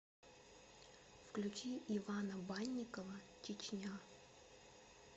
включи ивана банникова чечня